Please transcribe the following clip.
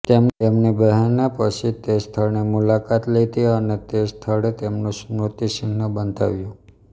તેમની બહેને પછી તે સ્થળની મુલાકાત લીધી અને તે સ્થળે તેમનું સ્મૃતિચિન્હ બંધાવ્યું